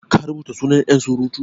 ka rubuta sunan yansurutu?